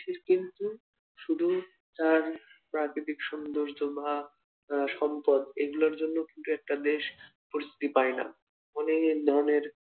দেশের কিন্তু শুধুই তার প্রাকৃতিক সৌন্দর্য বা আহ সম্পদ এগুলোর জন্য কিন্তু একটা দেশ অনেক ধরনের